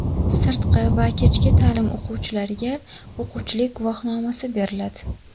Sirtqi va kechki ta’lim o‘quvchilariga o‘quvchilik guvohnomasi beriladi.